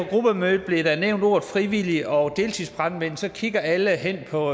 gruppemødet bliver nævnt ordene frivillige og deltidsbrandmænd så kigger alle hen på